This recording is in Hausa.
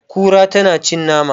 Kura tana cin nama.